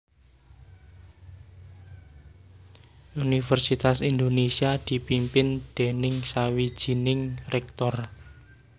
Univèrsitas Indonésia dipimpin déning sawijining Rèktor